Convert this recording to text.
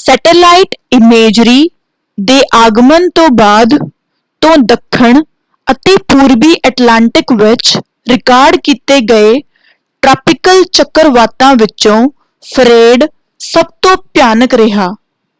satellite imagery ਦੇ ਆਗਮਨ ਤੋਂ ਬਾਅਦ ਤੋਂ ਦੱਖਣ ਅਤੇ ਪੂਰਬੀ ਐਟਲਾਂਟਿਕ ਵਿੱਚ ਰਿਕਾਰਡ ਕੀਤੇ ਗਏ ਟ੍ਰਾਪਿਕਲ ਚੱਕਰਵਾਤਾਂ ਵਿਚੋਂ ਫ੍ਰੇਡ ਸਭ ਤੋਂ ਭਿਆਨਕ ਰਿਹਾ